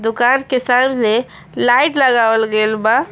दुकान के सामने लाइट लगावल गईल बा।